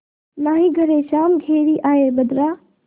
नाहीं घरे श्याम घेरि आये बदरा